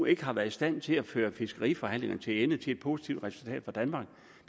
ikke har været i stand til at føre fiskeriforhandlingerne til ende til et positivt resultat for danmark